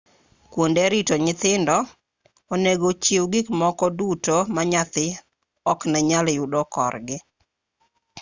kuonde rito nyithindo onego chiw gikmoko duto ma nyathi oknenyal yudo korgi